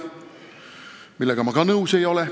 Sellega ma ka nõus ei ole.